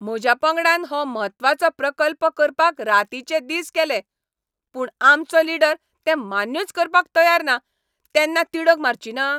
म्हज्या पंगडान हो म्हत्वाचो प्रकल्प करपाक रातीचे दीस केले, पूण आमचो लीडर तें मान्यूच करपाक तयार ना तेन्ना तिडक मारचिना?